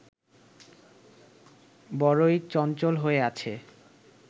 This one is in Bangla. বড়োই চঞ্চল হয়ে আছে